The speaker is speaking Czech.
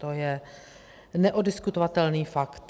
To je neoddiskutovatelný fakt.